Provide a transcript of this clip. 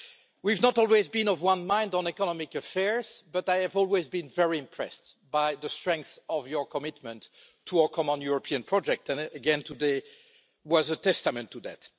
We've not always been of one mind on economic affairs, but I have always been very impressed by the strength of your commitment to our common European project, and again today was a testament to that.